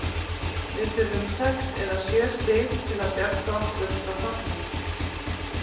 Við þurfum sex eða sjö stig til að bjarga okkur frá falli.